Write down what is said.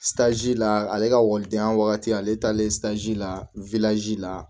la ale ka walidenya wagati ale talen la la